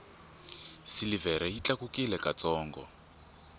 silivhere yi tlakukile ka ntsongo